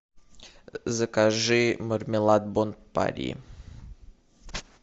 закажи мармелад бон пари